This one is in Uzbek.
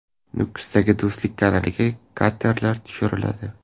Nukusdagi Do‘stlik kanaliga katerlar tushiriladi.